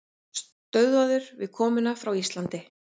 Stöðvaður við komu frá Íslandi